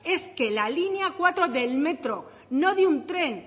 es que la línea cuatro del metro no de un tren